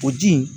O ji in